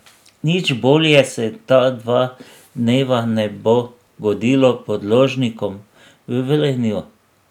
Nič bolje se ta dva dneva ne bo godilo podložnikom v Velenju.